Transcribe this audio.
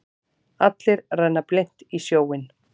Allir renna blint í sjóinn.